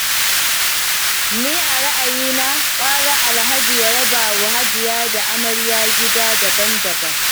Ni a ra'ayina, gwara Alhaji ya rabawa Hajiya da Amarya gida daban-daban